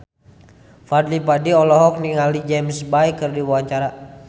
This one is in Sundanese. Fadly Padi olohok ningali James Bay keur diwawancara